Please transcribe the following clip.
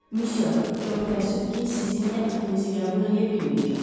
Monsieur, çox təəssüf ki, sizin təklifinizi qəbul eləyə bilməyəcəm.